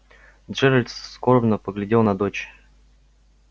джералд скорбно поглядел на дочь